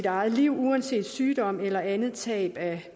eget liv uanset sygdom eller andet tab af